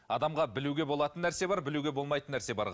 адамға білуге болатын нәрсе бар білуге болмайтын нәрсе бар